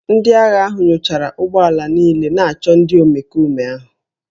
Ndị agha ahụ nyochara ụgbọ ala niile na-achọ ndị omekome ahụ